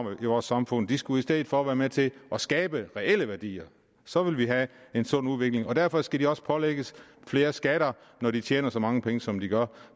har i vores samfund de skulle i stedet for være med til at skabe reelle værdier så ville vi have en sund udvikling derfor skal de også pålægges flere skatter når de tjener så mange penge som de gør